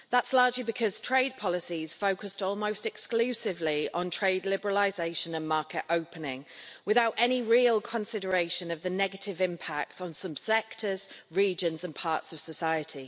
That's largely because trade policies focused almost exclusively on trade liberalisation and market opening without any real consideration of the negative impacts on some sectors, regions and parts of society.